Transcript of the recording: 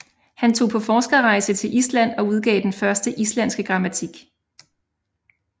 Han tog på forskerrejse til Island og udgav den første islandske grammatik